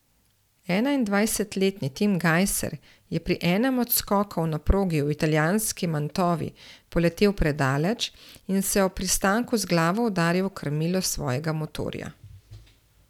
Enaindvajsetletni Tim Gajser je pri enem od skokov na progi v italijanski Mantovi poletel predaleč in se ob pristanku z glavo udaril v krmilo svojega motorja.